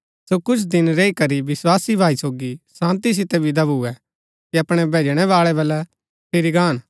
सो कुछ दिन रैई करी विस्वासी भाई सोगी शान्ती सितै विदा भुऐ कि अपणै भैजणैवाळै बलै फिरी गान